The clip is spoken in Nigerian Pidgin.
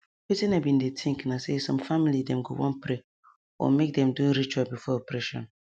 wetin i bin dey think na say some family dem go wan pray or make dem do ritual before operation